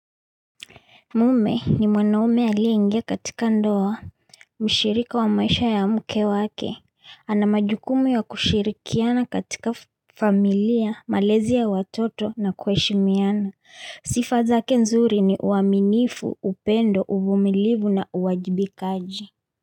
Mume ni mwanaume aliyeingia katika ndoa, mshiriko wa maisha ya mke wake, ana majukumu ya kushirikiana katika familia, malezi ya watoto na kuheshimiana, sifa zake nzuri ni uaminifu, upendo, uvumilivu na uwajibikaji.